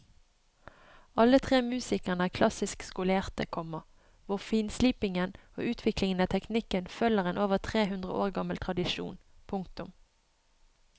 Alle tre musikerne er klassisk skolerte, komma hvor finslipingen og utviklingen av teknikken følger en over tre hundre år gammel tradisjon. punktum